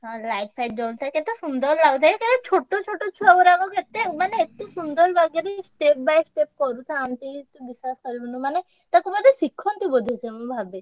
ହଁ light ଫାଇଟ ଜଳୁଥାଏ କେତେ ସୁନ୍ଦର ଲାଗୁଥାଏ। ଛୋଟ ଛୋଟ ଛୁଆଗୁଡାକ ଏତେ ମାନେ ଏତେ ସୁନ୍ଦର step by step କରୁଥାନ୍ତି। ବିଶ୍ବାସ କରିବୁନି ମାନେ ତାକୁ ବୋଧେ ଶି~ ଖନ୍ତି~ ବୋଧେ ସେ ମୁଁ ଭାବେ।